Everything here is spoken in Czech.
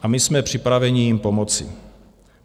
A my jsme připraveni jim pomoci.